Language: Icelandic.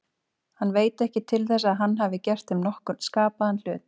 Hann veit ekki til þess að hann hafi gert þeim nokkurn skapaðan hlut.